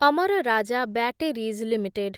Amar Raja batteries limited